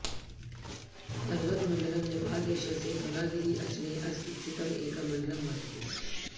पर्वतमण्डलम् नेपालदेशस्य धवलागिरी अञ्चले अवस्थितं एकं मण्डलं वर्तते